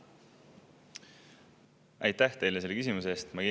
Aitäh teile selle küsimuse eest!